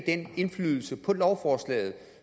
den indflydelse på lovforslaget